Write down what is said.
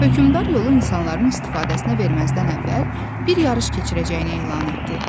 Hökmdar yolu insanların istifadəsinə verməzdən əvvəl bir yarış keçirəcəyini elan etdi.